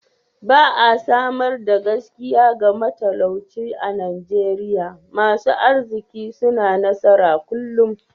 Ba'a samar da gaskiya ga matalauci a'Nijeriya. Masun arzikin suna nasara kullum.